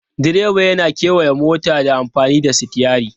Direba yana kewaya mota ta amfani da sitiyari.